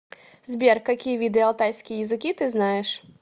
сбер какие виды алтайские языки ты знаешь